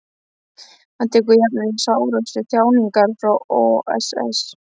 Hann tekur jafnvel sárustu þjáninguna frá oss.